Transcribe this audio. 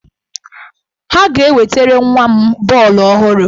Ha ga-ewetere nwa m bọọlụ ọhụrụ.